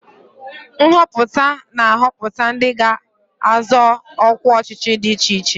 Nhọpụta na-ahọpụta ndị ga-azọ ọkwa ọchịchị dị iche iche.